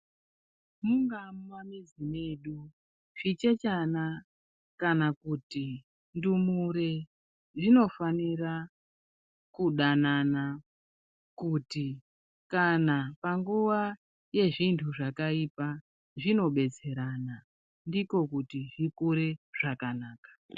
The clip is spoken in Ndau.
Mungava mumamizi medu zvichechana kana kuti ndumure zvinofanira kudanana kuti kana panguwa yezvintu zvakaipa zvinodetserana ndiko kuti zvikure zvakanaka.